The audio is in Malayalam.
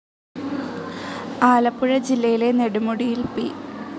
ആലപ്പുഴ ജില്ലയിലെ നെടുമുടിയിൽ പി.